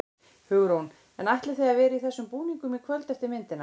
Hugrún: En ætlið þið að vera í þessum búningum í kvöld eftir myndina?